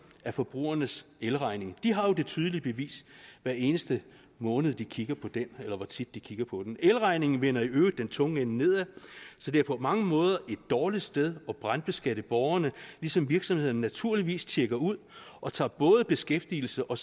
af forbrugernes elregning de har jo det tydelige bevis hver eneste måned de kigger på den eller hvor tit de nu kigger på den elregningen vender i øvrigt den tunge ende nedad så det er på mange måder et dårligt sted at brandskatte borgerne ligesom virksomhederne naturligvis tjekker ud og tager både beskæftigelse og